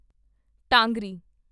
ਟਾਂਗਰੀ